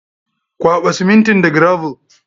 Kwaɓa simintin da gravel.